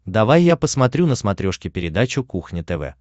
давай я посмотрю на смотрешке передачу кухня тв